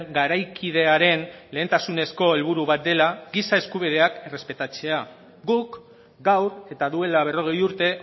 garaikidearen lehentasunezko helburu bat dela giza eskubideak errespetatzea guk gaur eta duela berrogei urte